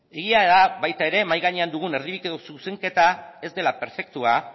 egia da ere baita ere mahai gainean dugun erdibideko zuzenketa ez dela perfektua